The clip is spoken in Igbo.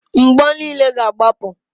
Mgbo niile ga-agbapụ.